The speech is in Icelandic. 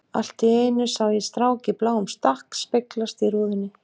Allt í einu sá ég strák í bláum stakk speglast í rúðunni.